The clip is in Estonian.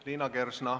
Liina Kersna.